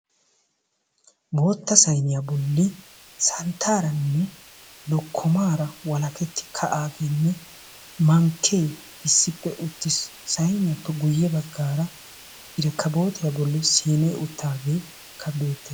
Bootta sayniya bolli santtaaranne lokkomaara walaketti ka"aageenne mankkee issippe uttis. Sayniyappe guyye baggaara irkkabootiya bolli siinee uttaageekka beettes.